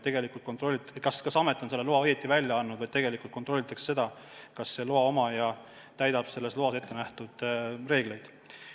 Ta ei kontrolli, kas amet on loa õigesti välja andnud, vaid kontrollib seda, kas loa omanik täidab ettenähtud reegleid.